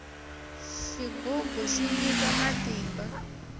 xigugu xi nyika matimba